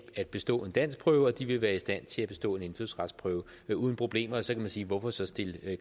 at bestå en danskprøve og de vil være i stand til at bestå en indfødsretsprøve uden problemer og så kunne man sige hvorfor så stille